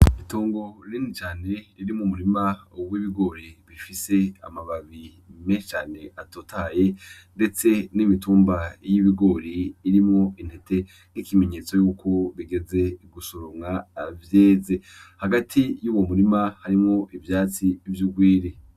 Itongo rinini cane ririmwo umurima w'ibigori bifise amababi menshi cane atotahaye, ndetse n'imitumba y'ibigori irimwo intete nk'ikimenyetso yuko bigeze gusoromwa vyeze . Hagati yuwo murima harimwo ivyatsi vy'urwiri.